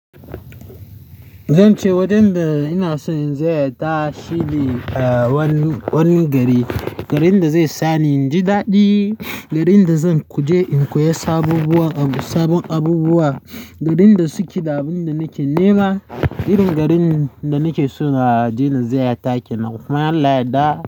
Zan ce wajen da ina so in ziyarta shige wani, wani gari, garin da zai sani inji daɗi, garin da zan kuje in koya sabobbuwa, sabon abubuwa, garin da suke da abun da nake nema. Irin garin da nake so a dai na ziyarta ke nan. Kuma in Allah yadda.